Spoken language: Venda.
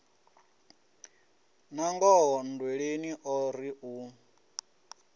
nangoho nndweleni o ri u